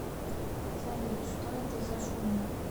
салют что это за шум